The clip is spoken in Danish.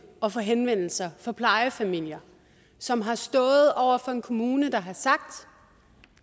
at få henvendelser fra plejefamilier som har stået over for en kommune der har sagt